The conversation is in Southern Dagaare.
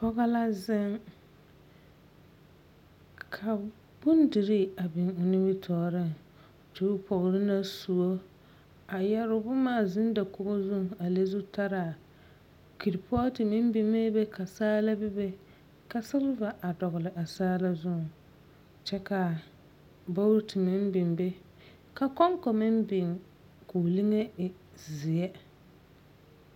Pͻge la zeŋ ka bondirii a biŋ o nimitͻͻreŋ koo pͻgere la sõͻ a yԑre boma a zeŋ dakogi zuŋ a le zutaraa keripootu meŋ biŋee be ka saala bebe ka seleva a dͻgele a saala zuŋ kyԑ ka bogiti meŋ biŋ be ka kͻŋkͻ meŋ biŋ koo liŋi e zeԑ.